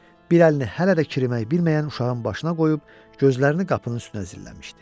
Bir əlini hələ də kirimək bilməyən uşağın başına qoyub, gözlərini qapının üstünə zilləmişdi.